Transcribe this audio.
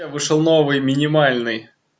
я вышел новый минимальный